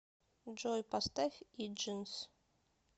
джой поставь игнис